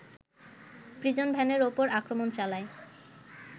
প্রিজনভ্যানের ওপর আক্রমণ চালায়